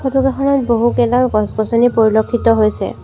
Photo কেইখনিত বহুকেইডাল গছ-গছনি পৰিলক্ষিত হৈছে।